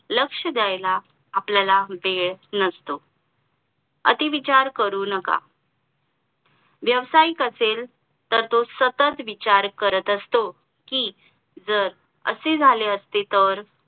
लक्ष द्यायला आपल्याला वेळ नसतो अति विचार करू नका व्यवसायिक असेल तर तो सतत विचार करत असतो कि जर असे झाले असते तर